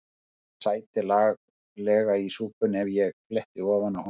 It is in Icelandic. Hann sæti laglega í súpunni ef ég fletti ofan af honum.